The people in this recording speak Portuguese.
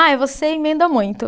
Ai, você emenda muito.